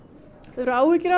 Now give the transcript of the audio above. hefurðu áhyggjur af